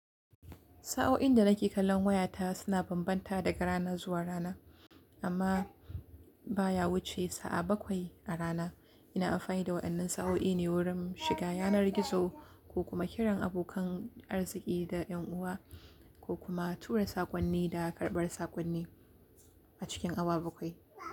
Sa'o'in da nake kallon wayata suna bambanta daga rana zuwa rana, amma ba ya wuce sa'a bakwai a rana. Ina amfani da wayannan sa'o'i ne wurin shiga yanar gizo ko kuma kiran abokan arziki da 'yan uwa, ko kuma tura sakonni da karɓar sakonni a cikin awa bakwai.